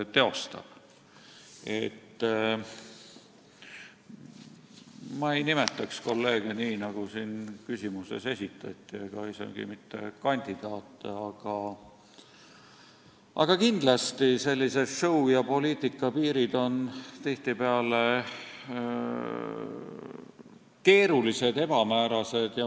Ma ei nimetaks kolleege nii, nagu siin küsimuses esitati, ega isegi mitte kandidaate, aga kindlasti on show ja poliitika piirid tihtipeale keerulised ja ebamäärased.